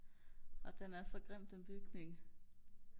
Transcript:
nå den er så grim den bygning